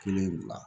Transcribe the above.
Kelen bila